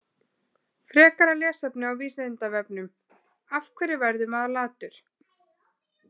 Frekara lesefni á Vísindavefnum: Af hverju verður maður latur?